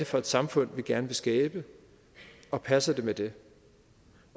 for et samfund vi gerne vil skabe og passer det med det